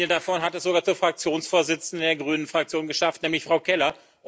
Eine davon hat es sogar zur Fraktionsvorsitzenden der Grünen Fraktion geschafft, nämlich Frau Keller.